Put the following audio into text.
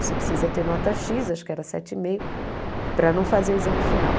Você precisa ter nota xis, acho que era sete e meio, para não fazer o exame final.